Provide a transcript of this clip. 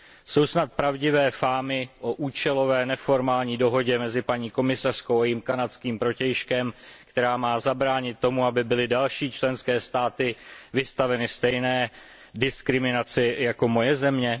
Jsou snad pravdivé fámy o účelové, neformální dohodě mezi paní komisařkou a jejím kanadským protějškem, která má zabránit tomu, aby byly další členské státy vystaveny stejné diskriminaci jako moje země?